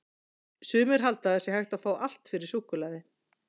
Sumir halda að það sé hægt að fá allt fyrir súkkulaði!